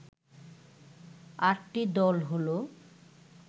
আটটি দল হলো